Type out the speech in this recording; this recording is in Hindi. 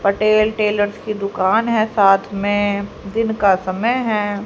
पटेल टेलर्स की दुकान है साथ में दिन का समय है।